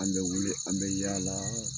An bɛ wili, an bɛ yaala